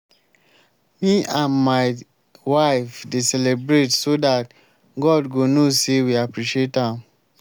me and my wife dey celebrate so dat god go know say we appreciate am